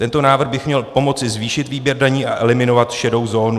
Tento návrh by měl pomoci zvýšit výběr daní a eliminovat šedou zónu.